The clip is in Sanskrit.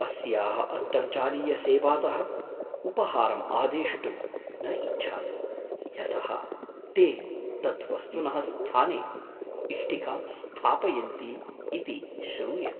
अस्याः अन्तर्जालीयसेवातः उपहारम् आदेष्टुं न इच्छामि यतः ते तद्वस्तुनः स्थाने इष्टिकां स्थापयन्ति इति श्रूयत।